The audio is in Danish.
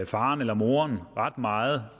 faren eller moren ret meget